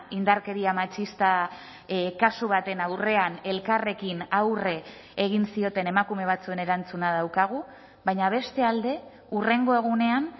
indarkeria matxista kasu baten aurrean elkarrekin aurre egin zioten emakume batzuen erantzuna daukagu baina beste alde hurrengo egunean